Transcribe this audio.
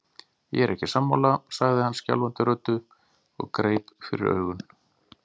Ég er ekki sammála, sagði hann skjálfandi röddu og greip fyrir augun.